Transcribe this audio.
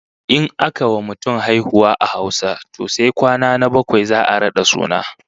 In aka wa mutum haihuwa a Hausa to sai kwana na bakwai za'a rada suna